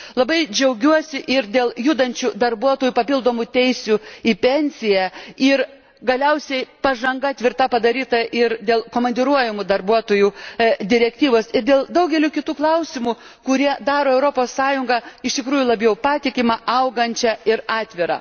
Labai džiaugiuosi ir dėl judančių darbuotojų papildomų teisių į pensiją ir galiausiai tvirta padaryta pažanga, ir dėl komandiruojamų darbuotojų direktyvos, ir dėl daugelio kitų klausimų, kurie daro Europos Sąjungą iš tikrųjų labiau patikimą, augančią ir atvirą.